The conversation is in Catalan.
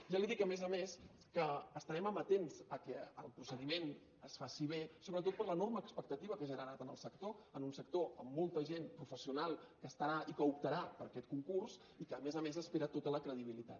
ja li dic a més a més que estarem amatents que el procediment es faci bé sobretot per l’enorme expectativa que ha generat en el sector en un sector amb molta gent professional que estarà i que optarà per aquest concurs i que a més a més espera tota la credibilitat